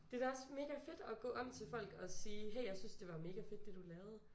Det da også mega fedt at gå om til folk og sige hey jeg synes det var mega fedt det du lavede